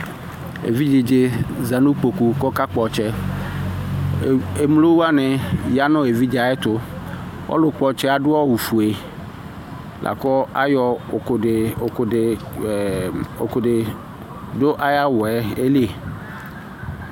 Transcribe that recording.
Evidze za nʋ ikpoku kʋ ɔkakpɔ ɔtsɛ, emlo wanɩ ya nʋ evidze yɛ ɛtʋ Ɔlʋ kpɔ ɔtsɛ yɛ adʋ awʋ fue, la kʋ ayɔ ʋkʋ dɩ, ʋkʋ dɩ dʋ awʋ yɛ li